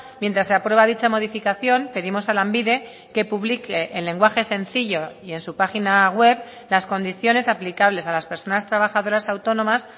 mientras se aprueba dicha modificación pedimos a lanbide que publique en lenguaje sencillo y en su página web las condiciones aplicables a las personas trabajadoras autónomas